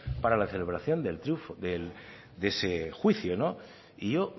para la celebración de ese juicio no y yo